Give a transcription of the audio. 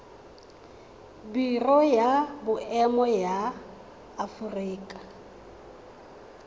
biro ya boemo ya aforika